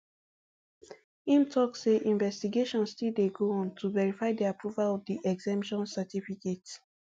im also tok say investigations still dey go on to verify di approval of di exemption certificate